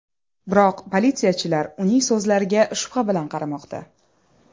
Biroq, politsiyachilar uning so‘zlariga shubha bilan qaramoqda.